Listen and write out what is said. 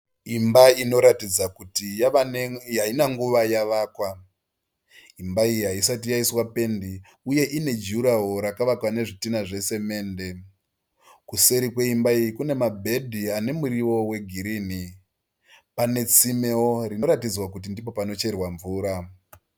Imba inoratidza kuti haina nguva yavakwa. Imba iyi haisati yaiswa pendi uye ine juraworo rakavakwa nezvidinha zvesemende. Kuseri kweimba iyi kune mabhedi ane muriwo wegirini. Pane tsimewo rinoratidza kuti ndipo panocherwa mvura.